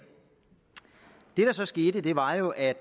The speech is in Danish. det der så skete var jo at